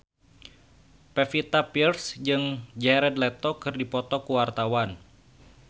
Pevita Pearce jeung Jared Leto keur dipoto ku wartawan